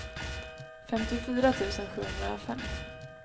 femtiofyra tusen sjuhundrafem